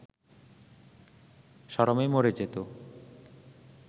শরমে মরে যেত